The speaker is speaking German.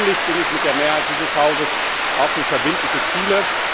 Persönlich bin ich mit der Mehrheit dieses Hauses auch für verbindliche Ziele.